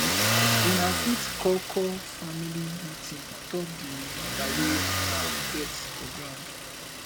una fit call call family meeting on top di matter wey una get for ground